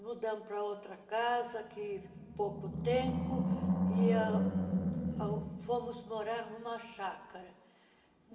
Mudamos para outra casa, que pouco tempo, e ah fomos morar em uma chácara.